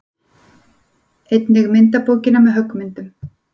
Einnig myndabókina með höggmyndunum.